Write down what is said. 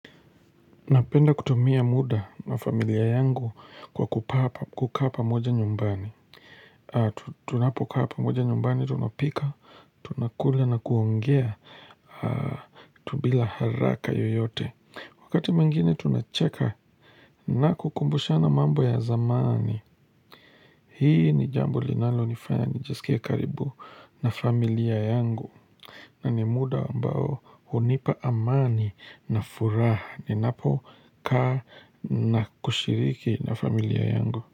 Napenda kutumia muda na familia yangu kwa kakaa pamoja nyumbani Tunapo kaa pamoja nyumbani tunapika tunakula na kuongea tu bila haraka yoyote Wakati mwingine tunacheka na kukumbushana mambo ya zamani Hii ni jambo linalo nifanya nijisikie karibu na familia yangu na ni muda ambao hunipa amani na furaha ninapo kaa na kushiriki na familia yangu.